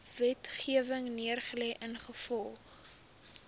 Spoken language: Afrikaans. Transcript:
wetgewing neergelê ingevolge